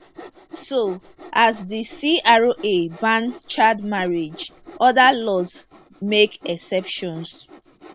so as di cra ban child marriage other laws make exceptions